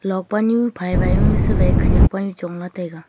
luak panu phai phai ma khanak panu chong lah taiga.